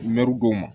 Mɛru don ma